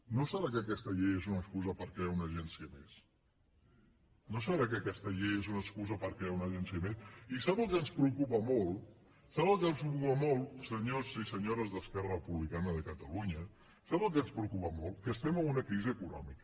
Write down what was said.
no deu ser que aquesta llei és una excusa per crear una agència més no deu ser que aquesta llei és una excusa per crear una agència més i sap què ens preocupa molt saben què ens preocupa molt senyors i senyores d’esquerra republicana de catalunya saben què ens preocupa molt que estem en una crisi econòmica